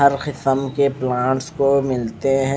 केसम के प्लांट्स क मिलते है।